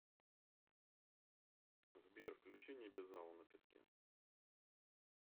сбер включи небезао на песке